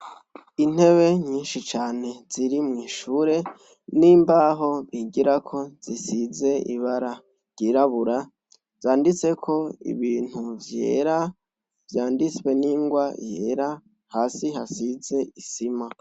Intebe nyinshi cane ziri mwishure nimbaho bigirako zisize ibara ryirabura zanditseko ibintu vyera vyanditswe ningwa yera hasi hasize isima